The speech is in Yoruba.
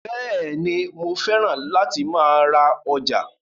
Bẹ́ẹ̀ni, mo fẹ́ràn láti máa ra ọjà